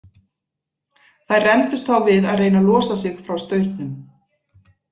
Þær rembdust þá við að reyna að losa sig frá staurnum.